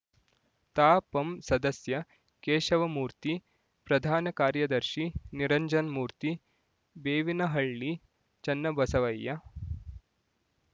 ತಾಪಂ ಸದಸ್ಯ ಕೇಶವಮೂರ್ತಿ ಪ್ರಧಾನ ಕಾರ್ಯದರ್ಶಿ ನಿರಂಜನ್‌ಮೂರ್ತಿ ಬೇವಿನಹಳ್ಳಿ ಚನ್ನಬಸವಯ್ಯ